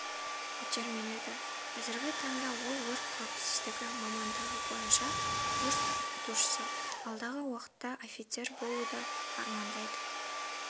итермеледі қазіргі таңда ол өрт қауіпсіздігі мамандығы бойынша курс оқытушысы алдағы уақытта офицер болуда армандайды